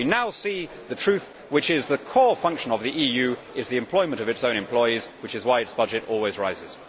We now see the truth, which is that the core function of the EU is the employment of its own employees, which is why its budget always rises.